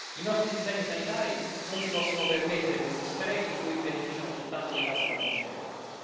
I nostri sistemi sanitari non si possono permettere questi sprechi di cui beneficiano soltanto le case farmaceutiche.